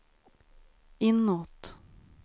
inåt